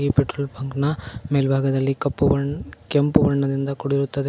Petrol bunk ನ ಮೇಲಭಾಗದಲ್ಲಿ ಕಪ್ಪು ಬಣ್ಣ ಕೆಂಪು ಬಣ್ಣದಿಂದ ಕೂಡಿರುತ್ತದೆ.